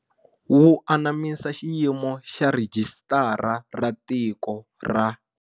Wu anamisa xiyimo xa Rhijisitara ra Tiko ra.